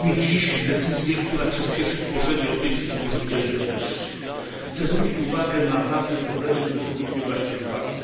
Podjęliśmy dziś decyzję, która przyspieszy tworzenie Europejskiej Służby Działań Zewnętrznych. Chcę zwrócić uwagę na ważne problemy, które powinniśmy wziąć pod uwagę.